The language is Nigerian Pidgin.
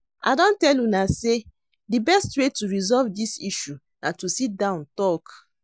I don tell una say the best way to resolve dis issue na to sit down talk